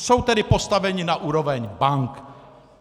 Jsou tedy postaveni na úroveň bank.